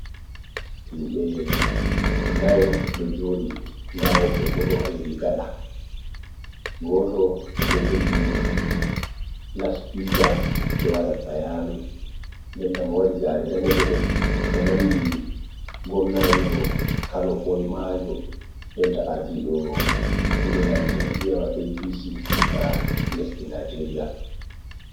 Himbe nayo do joɗi. Nɗa wobbe bo ɗo heɗi gaɗa. Goto ɗo jogi laspika ɗo waɗa bayanu. Ɗenta mo waɗi gare ɗaneje ɗo o nanɗi gomnajo kano boimajo. Ɗenta arɗiɗo ilelal jamiyawa A.P.C ga lesɗi nijeria.